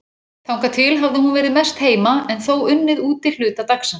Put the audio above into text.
Þangað til hafði hún verið mest heima en þó unnið úti hluta dagsins.